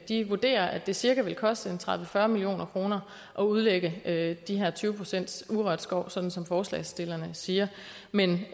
de vurderer at det cirka vil koste tredive til fyrre million kroner at udlægge de her tyve procents urørt skov som som forslagsstillerne siger men